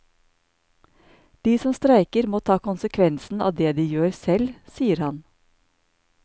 De som streiker må ta konsekvensen av det de gjør selv, sier han.